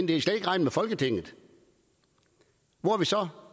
de skal ikke regne med folketinget hvor er vi så